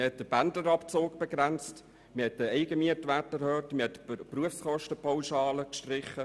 Man hat den Pendlerabzug begrenzt, den Eigenmietwert erhöht und die Berufskostenpauschale gestrichen.